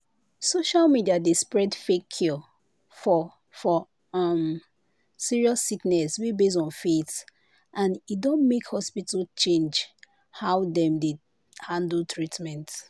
social media dey spread fake cure for for um serious sickness wey base on faith and e don make hospital change how dem dey handle treatment."